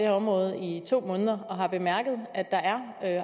område i to måneder og har bemærket at der er